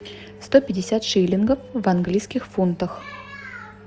сто пятьдесят шиллингов в английских фунтах